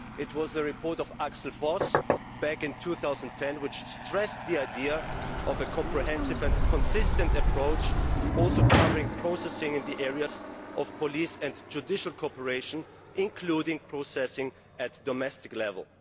It was the report by Axel Voss back in 2010 which stressed the idea of a comprehensive and consistent approach, also covering processing in the areas of police and judicial cooperation, including processing at domestic level.